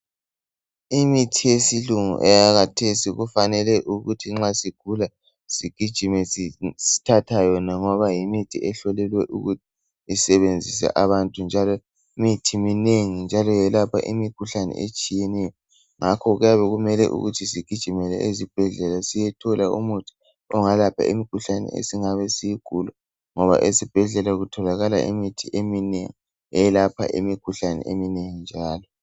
Imithi yesilungu eyakathesi kufanele ukuthi nxa sigula Sigijime sithatha yona ngoba yimithi ehlolelwe ukusebenzisa abantu njalo imithi minengi njalo yelapha imikhuhlane etshiyeneyo ngakho kuyabekumele ukuthi sigijimele ezibhedlela siyethola umuthi ongelapha imikhuhlane esingabe siyigula ngoba ezibhedlela kutholakala imithi eminengi eyelapha imikhuhlane eminengi njalo